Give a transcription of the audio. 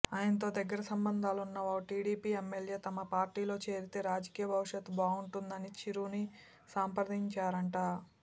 ఆయనతో దగ్గర సంబంధాలున్న ఓ టీడీపీ ఎమ్మెల్యే తమ పార్టీలో చేరితే రాజకీయ భవిష్యత్ బాగుంటుందని చిరుని సంప్రదించారట